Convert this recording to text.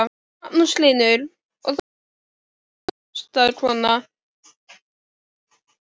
Magnús Hlynur: Og þú ert mikil hestakona?